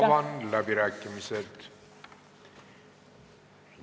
Avan läbirääkimised.